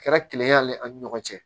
Kɛra kile y'ale ɲɔgɔn cɛ